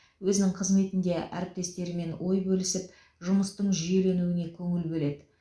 өзінің қызметінде әріптестерімен ой бөлісіп жұмыстың жүйеленуіне көңіл бөледі